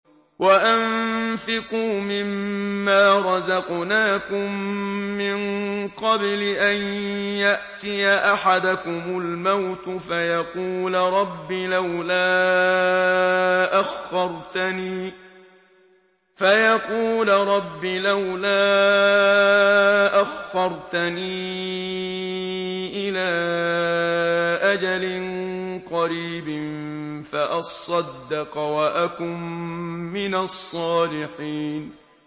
وَأَنفِقُوا مِن مَّا رَزَقْنَاكُم مِّن قَبْلِ أَن يَأْتِيَ أَحَدَكُمُ الْمَوْتُ فَيَقُولَ رَبِّ لَوْلَا أَخَّرْتَنِي إِلَىٰ أَجَلٍ قَرِيبٍ فَأَصَّدَّقَ وَأَكُن مِّنَ الصَّالِحِينَ